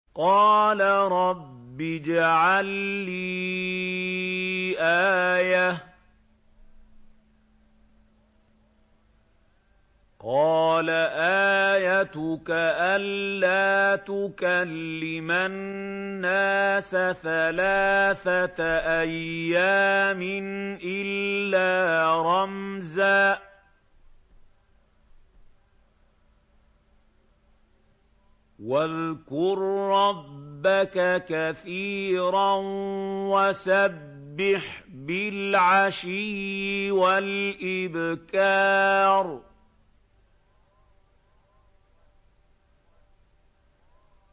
قَالَ رَبِّ اجْعَل لِّي آيَةً ۖ قَالَ آيَتُكَ أَلَّا تُكَلِّمَ النَّاسَ ثَلَاثَةَ أَيَّامٍ إِلَّا رَمْزًا ۗ وَاذْكُر رَّبَّكَ كَثِيرًا وَسَبِّحْ بِالْعَشِيِّ وَالْإِبْكَارِ